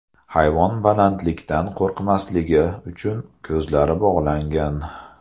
Hayvon balandlikdan qo‘rqmasligi uchun, ko‘zlari bog‘langan.